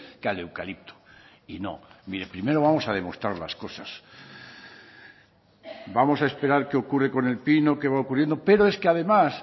que al eucalipto y no mire primero vamos a demostrar las cosas vamos a esperar qué ocurre con el pino qué va ocurriendo pero es que además